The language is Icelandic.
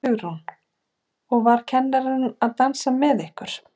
Hugrún: Og var kennarinn að dansa með ykkur?